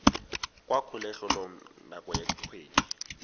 kwa kgolegelong nako ya dikgwedi